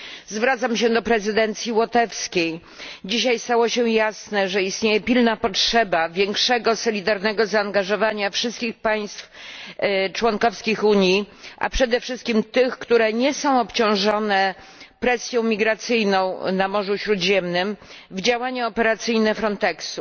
Zwracam się do prezydencji łotewskiej dzisiaj stało się jasne, że istnieje pilna potrzeba większego, solidarnego zaangażowania wszystkich państw członkowskich Unii, a przede wszystkim tych, które nie są obciążone presją migracyjną na Morzu Śródziemnym, w działania operacyjne Frontexu.